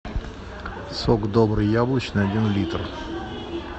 сок добрый яблочный один литр